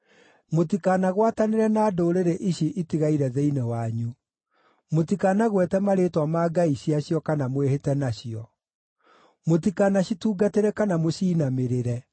Mũtikanagwatanĩre na ndũrĩrĩ ici itigaire thĩinĩ wanyu; mũtikanagwete marĩĩtwa ma ngai ciacio kana mwĩhĩte nacio. Mũtikanacitungatĩre kana mũciinamĩrĩre.